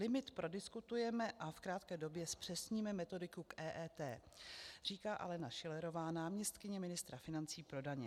Limit prodiskutujeme a v krátké době zpřesníme metodiku k EET" říká Alena Šilerová, náměstkyně ministra financí pro daně.